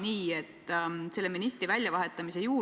Seda tuleb tõesti täpsustada, sest seda on Martin Helme avalikult öelnud.